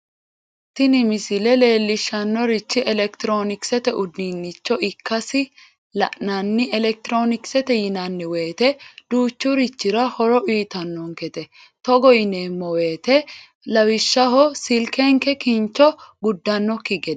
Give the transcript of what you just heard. tini misile leellishshannorichi elekitiroonikisete uduunnicho ikkasi la'nanni elekitiroonikisete yinanni woyiite duuchurichira horo uyiitannonkete togo yoneemmo woyiite lawishshaho silkenke kincho guddannokki gede.